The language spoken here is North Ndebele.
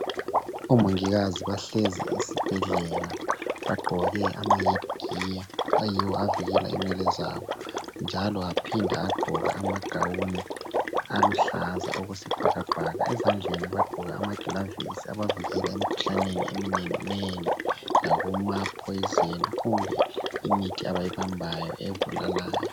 oMongikazi bahlezi esibhedlela bagqoke ama head gear ayiwo avikela inwele zabo , njalo aphinda agqoka ama gown aluhlaza okwesibhakabhaka. Ezandleni bagqoke amaglavisi abavikela emikhuhlaneni eminenginengi lakuma poison kumbe imithi abayibambayo ebulalayo.